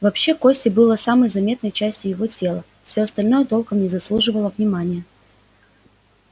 вообще кости были самой заметной частью его тела все остальное толком не заслуживало внимания